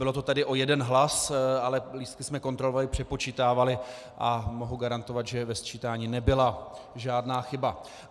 Bylo to tedy o jeden hlas, ale lístky jsme kontrolovali, přepočítávali a mohu garantovat, že ve sčítání nebyla žádná chyba.